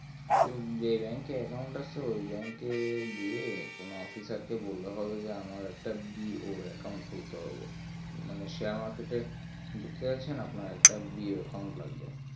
তো এই bank এ account আছে সে bank এ গিয়ে কোনো officer কে বললে হবে যে আমার একটা BOAaccount খুলতে হবে মানে share market এ এ ঢুকতে যাচ্ছেন একটা BOAaccount লাগবে